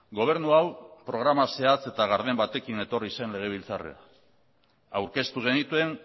gobernu hau programa zehatz eta garden batekin etorri zen legebiltzarrera aurkeztu genituen